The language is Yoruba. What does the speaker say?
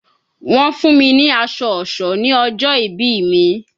Wọ́n fún mi ní aṣọ ọ̀ṣọ́ ní ọjọ́ ìbí mi